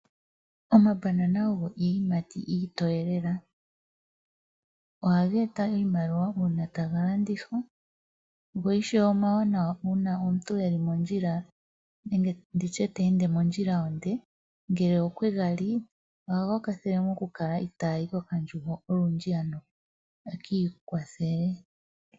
Omambanana ogo iiyimati iitoye lela. Ohaga eta iimaliwa uuna taga landithwa wo ishewe omawanawa uuna omuntu eli mondjila nenge nditye teende mondjila onde, ngele okwe ga li, ohaga kwathele oku kala itayi kokandjugo olundji ano akiikwathele.